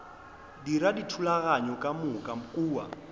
dira dithulaganyo ka moka kua